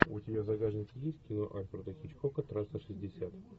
у тебя в загашнике есть кино альфреда хичкока трасса шестьдесят